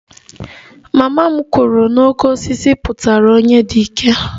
Mama m kwuru na 'oke osisi' pụtara onye dị ike